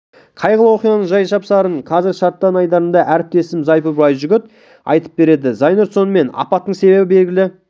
қайғылы оқиғаның жай-жапсарын қазір шартарап айдарында әріптесім зайнұр байжігіт айтып береді зайнұр сонымен апаттың себебі белгілі